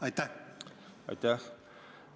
Aitäh!